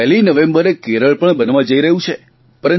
પહેલી નવેંબરે કેરળ પણ બનવા જઇ રહ્યું છે